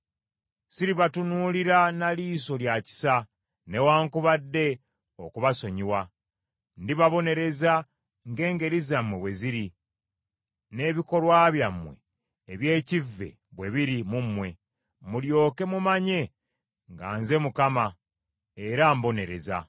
Siribatunuulira na liiso lya kisa newaakubadde okubasonyiwa. Ndibabonereza ng’engeri zammwe bwe ziri n’ebikolwa byammwe eby’ekkive bwe biri mu mmwe. Mulyoke mumanye nga nze Mukama Katonda, era mbonereza.